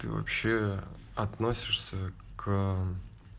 ты вообще относишься к